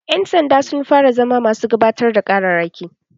Ƴan sanda sun fara zama masu gabatar da ƙararraki